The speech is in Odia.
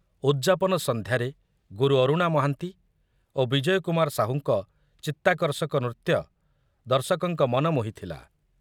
ଉଦ୍‌ଯାପନ ସନ୍ଧ୍ୟାରେ ଗୁରୁ ଅରୁଣା ମହାନ୍ତି ଓ ବିଜୟ କୁମାର ସାହୁଙ୍କ ଚିତ୍ତାକର୍ଷକ ନୃତ୍ୟ ଦର୍ଶକଙ୍କ ମନ ମୋହିଥିଲା।